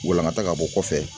Walankata ka bɔ kɔfɛ.